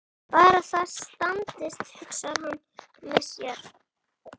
Bara það standist, hugsar hann með sér.